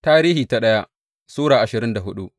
daya Tarihi Sura ashirin da hudu